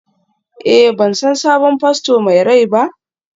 Eh, ban san sabon fasto mai rai ba?